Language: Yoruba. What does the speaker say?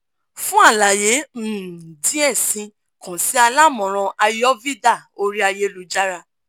fun alaye um diẹ sii kan si alamọran ayurveda ori ayélujára